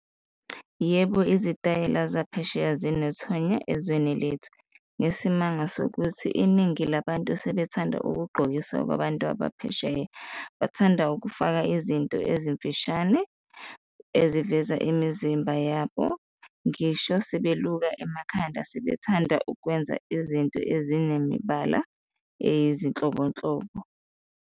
Yebo, izitayela zaphesheya zinethonya ezweni lethu ngesimanga sokuthi iningi labantu sebethanda ukugqokisa kwabantu abaphesheya, bathanda ukufaka izinto ezimfishane eziveza imizimba yabo, ngisho sebeluka emakhanda sebethanda ukwenza izinto ezinemibala eyizinhlobonhlobo.